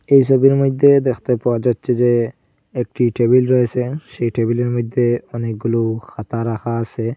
এই সবির মইদ্যে দেখতে পাওয়া যাচ্ছে যে একটি টেবিল রয়েসে সেই টেবিলের মইদ্যে অনেকগুলো খাতা রাখা আসে ।